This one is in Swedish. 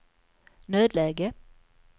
nödläge